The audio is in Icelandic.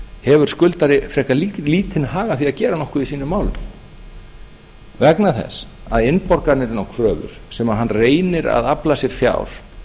hefur skuldari frekar lítinn hag af því að gera nokkuð í sínum málum vegna þess að innborganir inn á kröfur sem hann reynir að afla sér fjár